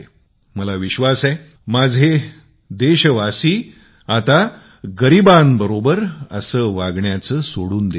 मला विश्वास आहे माझे देशावासी सुद्धा गरिबांशी असा व्यवहार करणे सोडून देतील